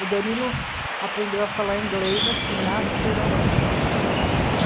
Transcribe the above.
O Danilo aprendeu a falar inglês assim, naturalmente.